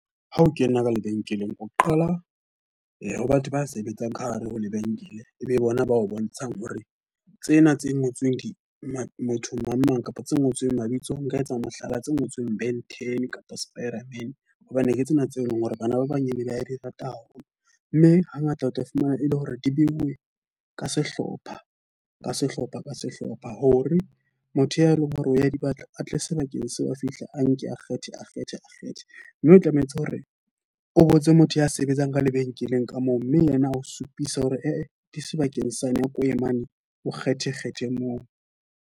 Ha o kena ka lebenkeleng, o qala ho batho ba sebetsang ka hare ho lebenkele. E e bona ba o bontshang hore tsena tse ngotsweng di motho mang mang kapa tse ngotsweng mabitso. Nka etsa mohlala tse ngotsweng Ben ten kapa Spiderman. Hobane ke tsena tseo e leng hore bana ba banyane ba di rata haholo. Mme ha ngata o tla fumana e le hore di beuwe ka sehlopha ka sehlopha ka sehlopha. Hore motho ya e leng hore o ya di batla atle sebakeng seo, a fihle a nke a kgethe, a kgethe kgethe. Mme o tlametse hore o botse motho ya sebetsang ka lebenkeleng ka moo mme yena o supisa hore e di sebakeng sa ene ke o ye mane, o kgethe kgethe moo.